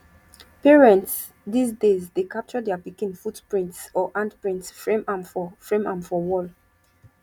parents these days dey capture their pikin footprints or handprints frame am for frame am for wall